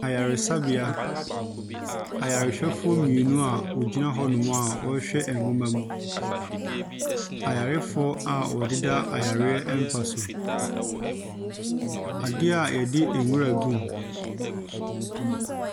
Ayaresabea ayarehwɛfoɔ mmienu a wɔgyina hɔnom a wɔrehwɛ nwoma mu. Ayarefoɔ a wɔdeda yareɛ mpa so, adeɛ a wɔde nwura gum.